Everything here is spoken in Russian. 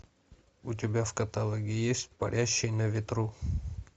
у тебя в каталоге есть парящий на ветру